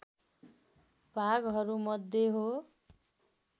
भागहरूमध्ये हो